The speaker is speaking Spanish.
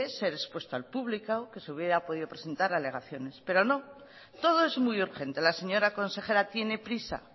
ser expuesto al público que se hubiera podido presentar alegaciones pero no todo es muy urgente la señora consejera tiene prisa